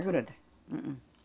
É gruda.